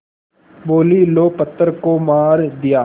बोलीं लो पत्थर को मार दिया